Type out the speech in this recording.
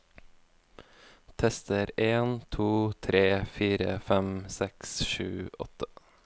Tester en to tre fire fem seks sju åtte